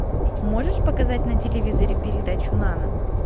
можешь показать на телевизоре передачу нано